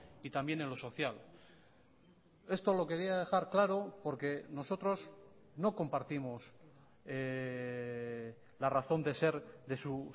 y también en lo social esto lo quería dejar claro porque nosotros no compartimos la razón de ser de su